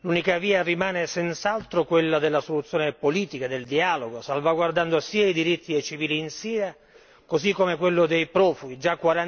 L'unica via rimane senz'altro quella della soluzione politica, del dialogo, salvaguardando sia i diritti dei civili in Siria così come quelli dei profughi già